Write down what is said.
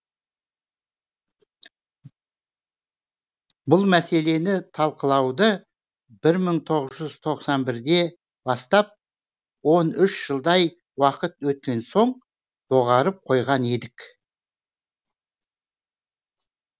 бұл мәселені талқылауды бір мың иоғыз жүз тоқсан бірде бастап он үш жылдай уақыт өткен соң доғарып қойған едік